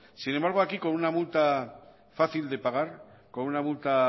sin embargo aquí con una multa fácil de pagar con una multa